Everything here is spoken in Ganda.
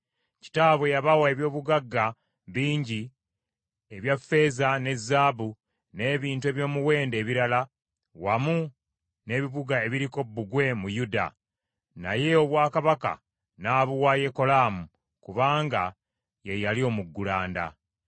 Kitaabwe yabawa eby’obugagga bingi, ebya ffeeza ne zaabu, n’ebintu eby’omuwendo ebirala, wamu n’ebibuga ebiriko bbugwe mu Yuda, naye obwakabaka n’abuwa Yekolaamu kubanga ye yali omuggulanda.